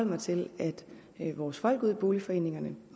mig til at vores folk ude i boligforeningerne